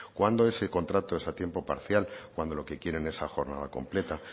cuando es contrato a tiempo parcial cuando lo que quieren es a jornada completa